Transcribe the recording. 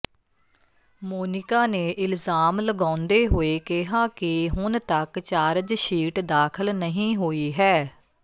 ਮੋਨਿਕਾ ਨੇ ਇਲਜ਼ਾਮ ਲਗਾਉਂਦੇ ਹੋਏ ਕਿਹਾ ਕਿ ਹੁਣ ਤੱਕ ਚਾਰਜਸ਼ੀਟ ਦਾਖਲ ਨਹੀਂ ਹੋਈ ਹੈ